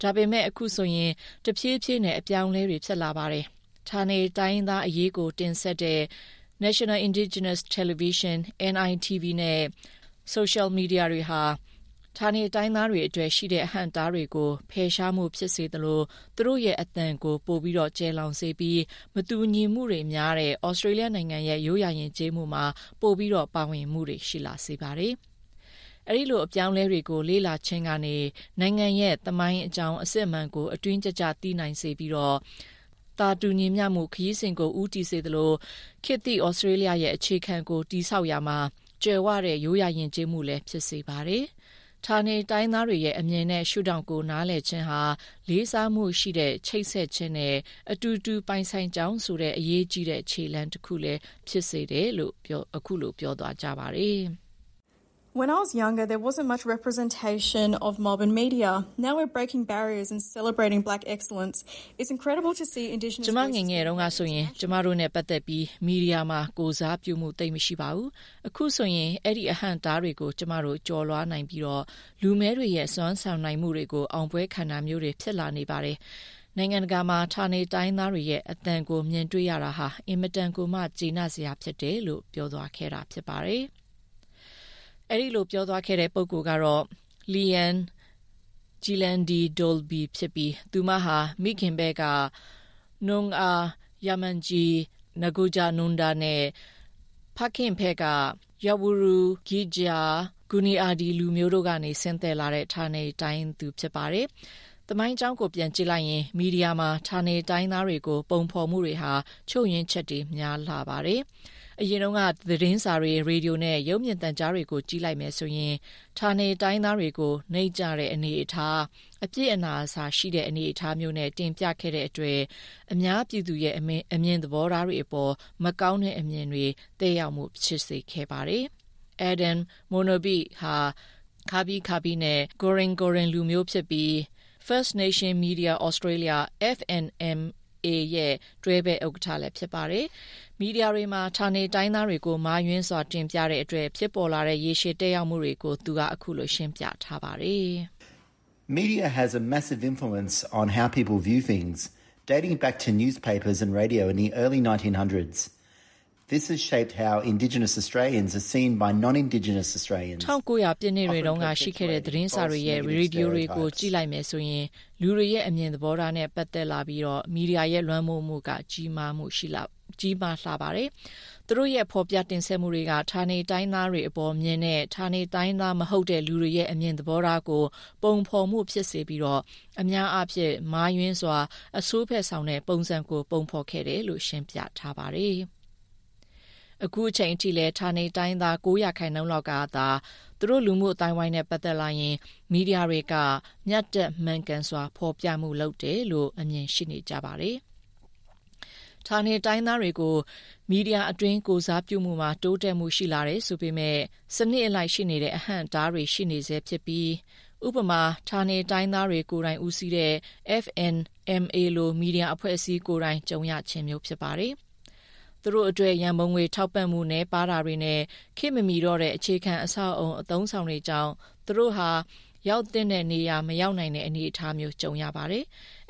ဒါပေမဲ့ အခုဆိုရင် တဖြေးဖြေးနဲ့ အပြောင်းအလဲတွေ ဖြစ်လာပါတယ်။ ဌာနေတိုင်းရင်းသားအရေးကို တင်ဆက်တဲ့ National Indigenous Television (NITV) နဲ့ ဆိုရှယ်မီဒီယာတွေဟာဌာနေတိုင်းရင်းသားတွေအတွက် ရှိတဲ့ အဟန့်အတားတွေကို ဖယ်ရှားမှုဖြစ်စေသလို သူတို့ရဲ့ အသံကို ပိုကျယ်လောင်စေပြီး မတူညီမှုတွေ များတဲ့ ဩစတြေးလျနိုင်ငံရဲ့ ရိုးရာယဥ်ကျေးမှုမှာ ပိုပြီး ပါဝင်မှု ရှိလာပါတယ်။ အဲဒီလို အပြောင်းအလဲတွေကို လေ့လာခြင်းကနေ နိုင်ငံရဲ့ သမိုင်းကြောင်းအစစ်အမှန်ကို အတွင်းကျကျ သိစေနိုင်ပြီး သာတူညီမျှမှု ခရီးစဥ်ကိုဦးတည်စေသလို ခေတ်သစ် ဩစတြေးလျရဲ့ အခြေခံကို တည်ဆောက်ရာမှာ ကြွယ်ဝတဲ့ ရိုးရာယဥ်ကျေးမှုလည်း ဖြစ်စေပါတယ်။ ဌာနေတိုင်းရင်းသားတွေရဲ့အမြင်နဲ့ ရှုထောင့်ကို နားလည်ခြင်းဟာ လေးစားမှုရှိတဲ့ ချိတ်ဆက်ခြင်းနဲ့ အတူတူ ပိုင်ဆိုင်ကြောင်းဆိုတဲ့ အရေးကြီးတဲ့ ခြေလှမ်းတစ်ခုလည်း ဖြစ်ပါသည်။ ကျမ ငယ်ငယ်တုန်းကဆိုရင် ကျမတို့နဲ့ ပတ်သက်ပြီး မီဒီယာမှာ ကိုယ်စားပြုမှုသိပ်မရှိပါဘူး၊ အခုဆိုရင် အဲဒီ အဟန့်အတားတွေကို ကျမတို့ ကျော်လွှားပြီးလူမည်းတွေရဲ့ စွမ်းဆိုင်နိုင်မှုတွေကို အောင်ပွဲခံတာမျိုးတွေ ဖြစ်လာနေပါတယ်၊နိုင်ငံတကာမှာ ဌာနေတိုင်းရင်းသားတွေရဲ့ အသံကို မြင်တွေ့ရတာ အင်မတန်ကို ကျေနပ်စရာ ဖြစ်တယ်လို့ ပြောသွားခဲ့တာ ဖြစ်ပါတယ်။ အဲဒီလို ပြောသွားခဲ့တဲ့ ပုဂ္ဂိုလ်က Leanne Djilandi Dolby ဖြစ်ပြီး သူမဟာ မိခင်ဖက်ကNoongar, Yamatji NaagujaNunda လူမျိုးနဲ့ ဖခင်ဖက်က Yawuru, Gija, and Gooniyandi လူမျိုး တို့ကနေ ဆင်းသက်လာတဲ့ ဌာနေတိုင်းရင်းသား ဖြစ်ပါတယ်။ သမိုင်းကြောင်းကို ပြန်ကြည့်လိုက်ရင် မီဒီယာမှာ ဌာနေတိုင်းရင်းသားတွေကိုပုံဖော်မှုတွေဟာ ချို့ယွင်းချက်တွေ များလှပါတယ်။ အရင်က သတင်းစာတွေ၊ ရေဒီယိုနဲ့ ရုပ်မြင်သံကြားတွေကို ကြည့်လိုက်မယ်ဆိုရင်ဌာနေတိုင်းရင်းသားတွေကို နိမ့်ကျတဲ့အနေအထား၊ အပြစ်အနာအဆာရှိတဲ့အနေအထားမျိုးနဲ့ တင်ပြခဲ့တဲ့အတွက် အများပြည်သူရဲ့အမြင်သဘောထားတွေအပေါ် မကောင်းတဲ့အမြင်တွေ သက်ရောက်မှုရှိစေခဲ့ပါတယ်။ ၁၉၀၀ ပြည့်နှစ်တွေတုန်းက ရှိခဲ့တဲ့ သတင်းစာတွေနဲ့ ရေဒီယိုတွေကိုကြည့်လိုက်ရင် လူတွေရဲ့ အမြင်သဘောထားနဲ့ ပတ်သက်လာရင် မီဒီယာရဲ့လွှမ်းမိုးမှုက ကြီးမားလှပါတယ်။ သူတို့ရဲ့ ဖော်ပြတင်ဆက်မှုတွေက ဌာနေတိုင်းရင်းသား တွေအပေါ် မြင်တဲ့ ဌာနေတိုင်းရင်းသား မဟုတ်တဲ့ လူတွေရဲ့အမြင်သဘောထားကို ပုံဖော်မှု ဖြစ်စေပြီး အများအားဖြင့် မှားယွင်းစွာအဆိုးဖက်ဆောင်တဲ့ ပုံစံကို ပုံဖော်ခဲ့တယ်လို့ ရှင်းပြခဲ့ပါတယ်။ အခုအချိန်အထိလည်း ဌာနေတိုင်းရင်းသား ၉% လောက်ကသာသူတို့လူမှုအသိုင်းအဝိုင်းနဲ့ ပတ်သက်လာရင် မီဒီယာက မျှတမှန်ကန်စွာ ဖော်ပြမှုလုပ်တယ်လို့ ပြောဆိုကြပါတယ်။ ဌာနတိုင်းရင်းသားတွေကို မီဒီယာအတွင်း ကိုယ်စားပြုမှုမှာ တိုးတက်မှုရှိလာတယ်ဆိုပေမယ့် စနစ်အလိုက် ရှိနေတဲ့ အဟန့်အတားတွေ ရှိနေဆဲ ဖြစ်ပြီးဥပမာ ဌာနတိုင်းရင်းသားတွေ ကိုယ်တိုင် ဦးစီးတဲ့ FNMA လို မီဒီယာအဖွဲ့အစည်းကိုယ်တိုင် ကြုံရခြင်းမျိုး ဖြစ်ပါတယ်။သူတို့အတွက်ရံပုံငွေထောက်ပံ့မှု နည်းပါးတာတွေနဲ့ ခေတ်မမှီတော့တဲ့ အခြေခံ အဆောက်အဦးအသုံးအဆောင်တွေကြောင့် သူတို့ဟာ ရောက်သင့်တဲ့ နေရာ မရောက်နိုင်တဲ့အနေအထားမျိုး ကြုံရပါတယ်။